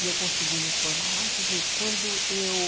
E eu consegui me formar lá, quer dizer, quando eu...